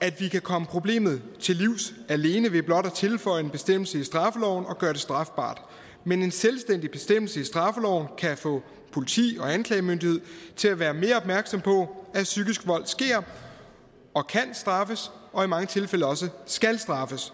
at vi kan komme problemet til livs alene ved blot at tilføje en bestemmelse i straffeloven og gøre det strafbart men en selvstændig bestemmelse i straffeloven kan få politiet og anklagemyndigheden til at være mere opmærksomme på at psykisk vold sker og kan straffes og i mange tilfælde også skal straffes